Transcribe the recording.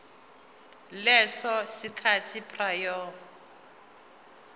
leso sikhathi prior